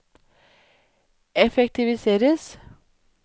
effektiviseres